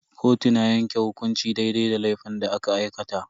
Kotu na yanke hukunci daidai da laifin da aka aikata.